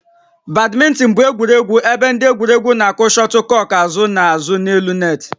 Badminton bụ egwuregwu ebe ndị egwuregwu na-akụ shuttlecock azụ na azụ n'elu net